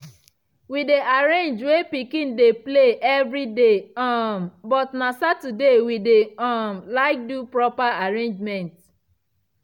we dey arrange wey pikin dey play evriday um but na saturday we dey um like do proper arrangement.